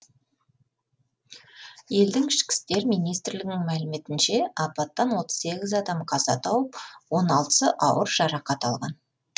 елдің ішкі істер министрлігінің мәліметінше апаттан отыз сегіз адам қаза тауып он алтысы ауыр жарақат алған